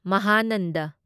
ꯃꯍꯥꯅꯟꯗ